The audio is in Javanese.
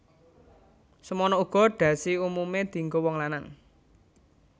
Semana uga dhasi umumé dienggo wong lanang